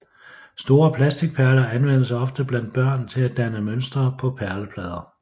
Store plasticperler anvendes ofte blandt børn til at danne mønstre på perleplader